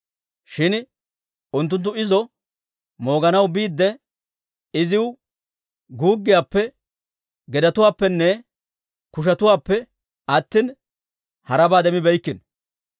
Shin unttunttu izo mooganaw biidde, iziw guuggiyaappe, gedetuwaappenne kushetuwaappe attina, harabaa demmibeeykkino.